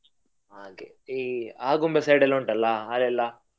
ಹಾಗೆ ಈ Agumbe side ಎಲ್ಲಾ ಉಂಟಲ್ಲ ಅಲ್ಲೆಲ್ಲ.